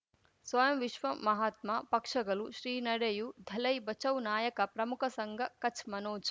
ಸ್ವಯಂ ವಿಶ್ವ ಮಹಾತ್ಮ ಪಕ್ಷಗಳು ಶ್ರೀ ನಡೆಯೂ ದಲೈ ಬಚೌ ನಾಯಕ ಪ್ರಮುಖ ಸಂಘ ಕಚ್ ಮನೋಜ್